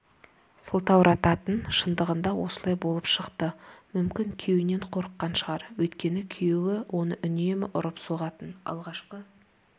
сылтаурататын шындығында осылай болып шықты мүмкін күйеуінен қорыққан шығар өйткені күйеуі оны үнемі ұрып-соғатын алғашқы